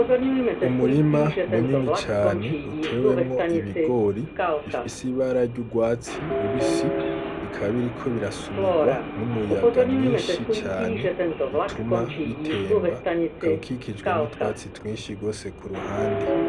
Umurima munini cane utewemwo ibigori bifise ibara ry'urwatsi rubisi bikaba biriko birasunigwa n'umuyaga mwinshi cane bituma bitemba bikaba bikikijwe n'utwatsi twinshi rwose kuruhande.